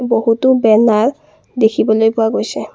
বহুতো বেনাৰ দেখিবলৈ পোৱা গৈছে।